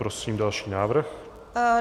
Prosím další návrh.